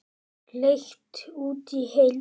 Leigt út í heild?